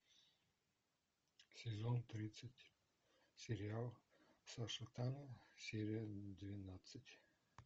сезон тридцать сериал саша таня серия двенадцать